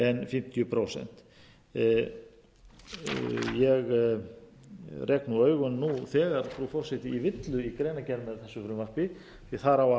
fimmtíu prósent ég rek augun nú þegar frú forseti í villu í greinargerð með þessu frumvarpi því þar á